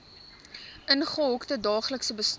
ingehokte daaglikse bestaan